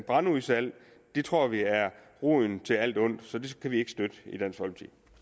brandudsalg tror vi er roden til alt ondt så det kan vi ikke støtte